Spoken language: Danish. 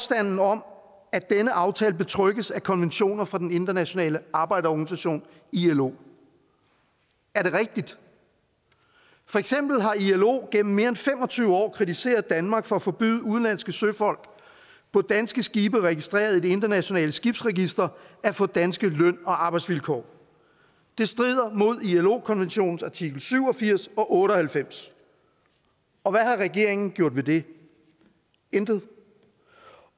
om at denne aftale betrygges af konventioner fra den internationale arbejderorganisation ilo er det rigtigt for eksempel har ilo igennem mere end fem og tyve år kritiseret danmark for at forbyde udenlandske søfolk på danske skibe registreret i dansk internationalt skibsregister at få danske løn og arbejdsvilkår det strider mod ilo konventionens artikel syv og firs og otte og halvfems og hvad har regeringen gjort ved det intet